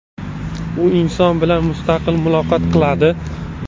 U inson bilan mustaqil muloqot qiladi.